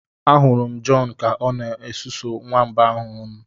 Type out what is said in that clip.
Ahụrụ m John Ka ọ na-esusu nwamba ahụ ọnụ